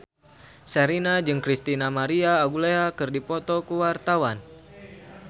Sherina jeung Christina María Aguilera keur dipoto ku wartawan